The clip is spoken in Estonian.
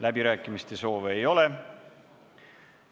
Läbirääkimiste soove ei ole.